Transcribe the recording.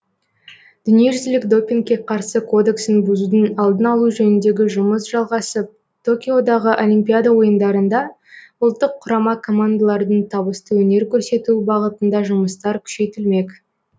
дүниежүзілік допингке қарсы кодексін бұзудың алдын алу жөніндегі жұмыс жалғасып токиодағы олимпиада ойындарында ұлттық құрама командалардың табысты өнер көрсетуі бағытында жұмыстар күшейтілмек